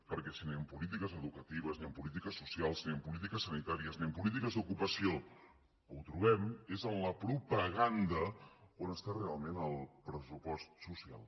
perquè si ni en polítiques educatives ni en polítiques socials ni en polítiques sanitàries ni en políti ques d’ocupació ho trobem és en la propaganda on està realment el pressupost social